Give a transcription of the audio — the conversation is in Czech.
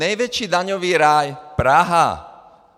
Největší daňový ráj - Praha.